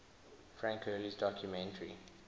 frank hurley's documentary